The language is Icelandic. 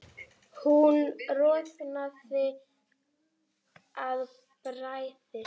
Hún roðnaði af bræði.